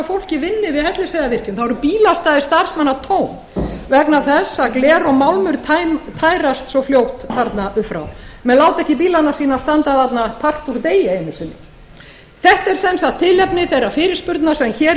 vinni við hellisheiðarvirkjun þá eru bílastæði starfsmanna tóm vegna þess að gler og málmur tærast svo fljótt þarna upp frá menn láta ekki bílana sína standa þarna part úr degi einu sinni þetta er sem sagt tilefni þeirrar fyrirspurnar sem hér